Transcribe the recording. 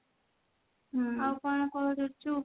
ଆଉ କହ କଣ କରୁଛୁ?